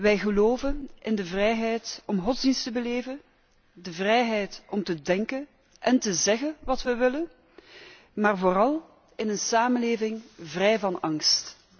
Wij geloven in de vrijheid om godsdienst te beleven, de vrijheid om te denken en te zeggen wat wij willen, maar vooral in een samenleving vrij van angst.